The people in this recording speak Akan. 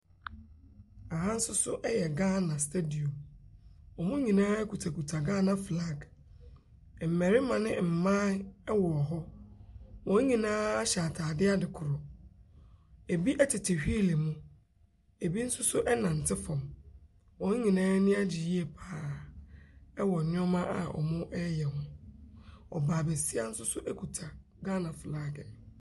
Aha nsoso ɛyɛ Ghana stediɔm. Ɔmo nyinaa kutakuta Ghana flag. Mmarima ne mmaa ɛwɔ hɔ. Wɔn nyinaa hyɛ ataade ade koro. Ebi ɛtete hweele mu. Ebi nso so ɛɛnante fam. Wɔn nyinaa ani agye yiye paa ɛwɔ nneɛma a ɔmo ɛɛyɛ ho. Ɔbaa basia nsoso ekuta Ghana flag no.